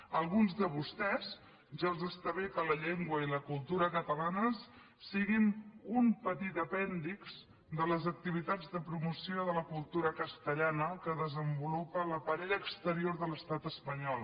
a alguns de vostès ja els està bé que la llengua i la cultura catalanes siguin un petit apèndix de les activitats de promoció de la cultura castellana que desenvolupa l’aparell exterior de l’estat espanyol